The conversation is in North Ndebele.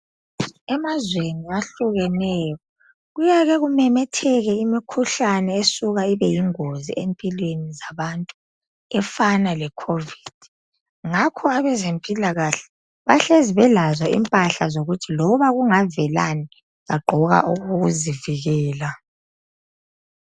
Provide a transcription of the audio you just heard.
Emazweni ahlukeneyo kuyake kumemetheke imkhuhlane esuka ibe yingozi empilweni zabantu efana lecovid ngakho abazempilakahle bahlezi belazo impahla ukuthi loba kungavelani bagqoka okokuzivikela.